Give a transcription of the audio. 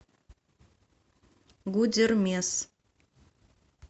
гудермес